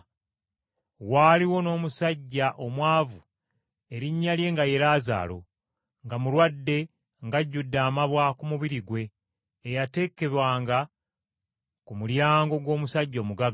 Waaliwo n’omusajja omwavu erinnya lye nga ye Laazaalo nga mulwadde ng’ajjudde amabwa ku mubiri gwe, eyateekebwanga ku mulyango gw’omusajja omugagga.